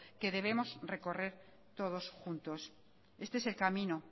que debemos recorrer todos juntos este es el camino